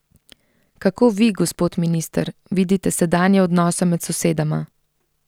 Kako vi, gospod minister, vidite sedanje odnose med sosedama?